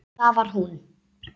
Það var hún.